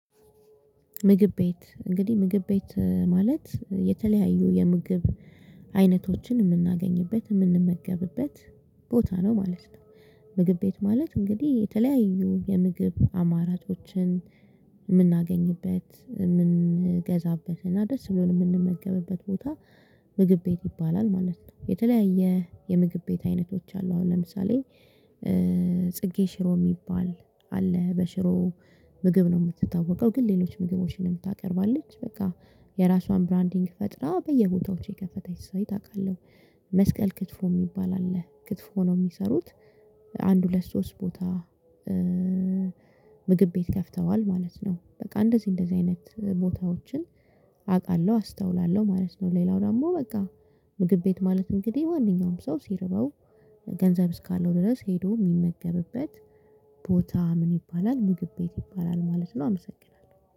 ምግብ ቤት እንግዲህ ምግብ ቤት ማለት የተለያዩ የምግብ አይነቶችን የምናገኝበት የምንመገብበት ቦታ ነው ማለት ነው። ምግብ ቤት ማለት እንግዲህ የተለያዩ የምግብ አማራጮችን የምናገኝበት የምንገዛበት እና ደስ ብሎን የምንመገብበት ቦታ። ምግብ ቤት ይባላል ማለት ነው። የተለያየ የምግብ ቤት አይነቶች አሉ። አሁን ለምሳሌ ጽጌ ሽሮ የሚባል አለ በሽሮ ምግብ ነው የምትታወቀው። ግን ሌሎች ምግቦችንም ነው ታቀርባለች። በቃ የራሷን ብራንዲንግ ፈጥራ በየቦታዎቹ የከፈተች ሰው ታውቃለህ። መስቀል ክትፎ የሚባል አለ ክትፎ ነው የሚሰሩት። አንድ ሁለት ሶስት ቦታ ምግብ ቤት ከፍተዋል ማለት ነው። በቃ እንደዚህ እንደዚህ አይነት ቦታዎችን አውቃለሁ አስተውላለሁ ማለት ነው። ሌላው ደግሞ በቃ ምግብ ቤት ማለት እንግዲህ ማንኛውም ሰው ሲርበው ገንዘብ እስካለው ድረስ ሄዶ የሚመገብበት ቦታ ምን ይባላል? ምግብ ቤት ይባላል ማለት ነው። አመሰግናለሁ